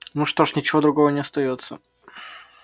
ну что ж ничего другого не остаётся